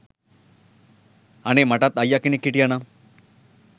අනේ මටත් අයියා කෙනෙක් හිටියා නම්